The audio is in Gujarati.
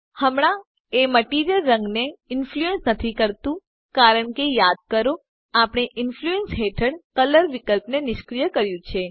હમણાં એ મટીરીઅલ રંગ ને ઇન્ફ્લુઅન્સ નથી કરતું કારણકે યાદ કરો આપણે ઇન્ફ્લુઅન્સ હેઠળ કલર વિકલ્પ ને નિષ્ક્રિય કર્યું છે